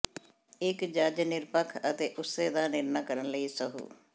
ਇੱਕ ਜੱਜ ਨਿਰਪੱਖ ਅਤੇ ਉਸੇ ਦਾ ਨਿਰਣਾ ਕਰਨ ਲਈ ਸਹੁੰ